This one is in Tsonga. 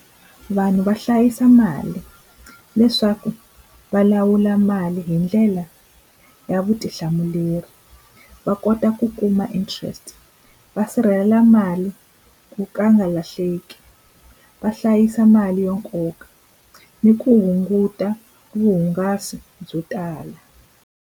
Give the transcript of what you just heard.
Vanhu va hlayisa mali leswaku va lawula mali hi ndlela ya vutihlamuleri va kota ku kuma interest va sirhelela mali ku ka a nga lahleki va hlayisa mali yo nkoka ni ku hunguta vuhungasi byo tala.